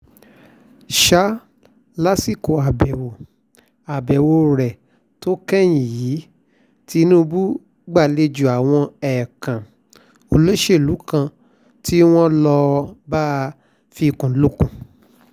sá lásìkò àbẹ̀wò àbẹ̀wò rẹ̀ tó kẹ́yìn yìí tìǹbù gbàlejò àwọn ẹ̀ẹ̀kan olóṣèlú kan tí wọ́n lọ́ọ́ bá a fikùn lukùn